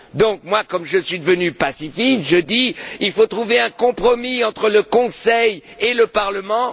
Donc, moi, comme je suis devenu pacifiste, je dis qu'il faut trouver un compromis entre le Conseil et le Parlement.